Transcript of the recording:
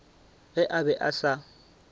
ge a be a se